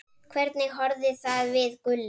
Hvernig horfði það við Gulla?